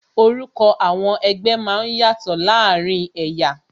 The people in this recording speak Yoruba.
Orúkọ àwọn ẹgbẹ́ máa ń yàtò láàárín ẹ̀yà